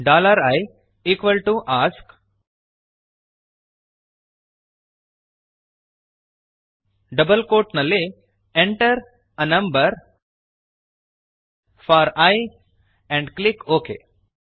i ask double quotes ನಲ್ಲಿ enter a number four I and click okay